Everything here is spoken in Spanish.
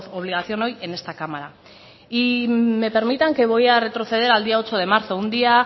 obligación hoy en esta cámara y me permitan que voy a retroceder al día ocho de marzo un día